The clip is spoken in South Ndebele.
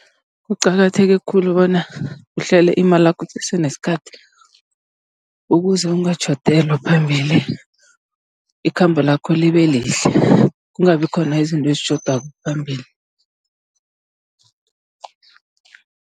Kuqakatheke khulu bona uhlele imalakho kusese nesikhathi, ukuze ungatjhodelwa phambili. Ikhambo lakho libe lihle, kungabi khona izinto ezitjhodako phambili.